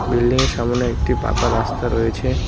বিল্ডিংয়ের সামোনে একটি পাকা রাস্তা রয়েছে।